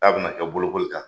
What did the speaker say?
K'a be na kɛ bolokoli kan.